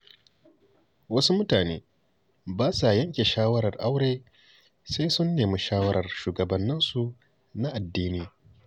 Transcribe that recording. Wasu mutane ba sa yanke shawarar aure sai sun nemi shawarar shugabanninsu na addini.